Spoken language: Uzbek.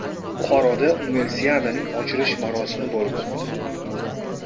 Buxoroda Universiadaning ochilish marosimi bo‘lib o‘tdi.